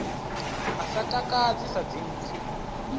a sa takadzi sa dzimpfu